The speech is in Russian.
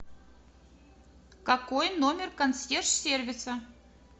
какой номер консьерж сервиса